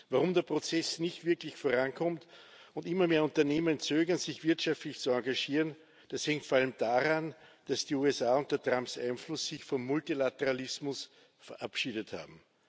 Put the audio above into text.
Warum der Prozess nicht wirklich vorankommt und immer mehr Unternehmen zögern, sich wirtschaftlich zu engagieren, das hängt vor allem daran, dass sich die USA unter Trumps Einfluss vom Multilateralismus verabschiedet haben.